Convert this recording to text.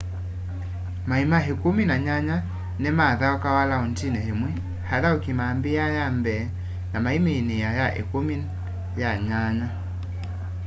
maima ikumi na nyanya ni mathaukawa laundini imwe athauki mambiaa ya mbee na maiminiia ya ikumi ya nyanya